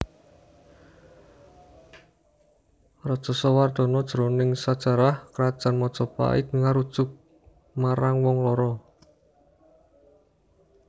Rajasawardhana jroning sajarah Krajan Majapait ngarujuk marang wong loro